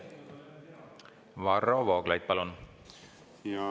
Varro Vooglaid, palun!